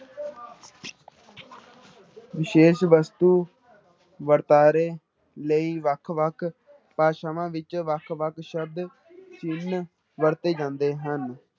ਵਿਸ਼ੇਸ਼ ਵਸਤੂ ਵਰਤਾਰੇ ਲਈ ਵੱਖ ਵੱਖ ਭਾਸ਼ਾਵਾਂ ਵਿੱਚ ਵੱਖ ਵੱਖ ਸ਼ਬਦ ਚਿੰਨ ਵਰਤੇ ਜਾਂਦੇ ਹਨ।